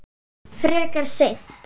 Frekar seint.